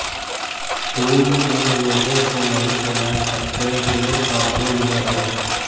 तुम उन लोगों को नहीं सुना सकते जो क़ब्रों में हो